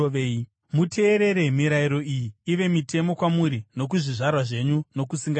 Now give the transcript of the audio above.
“Muteerere mirayiro iyi ive mitemo kwamuri nokuzvizvarwa zvenyu nokusingaperi.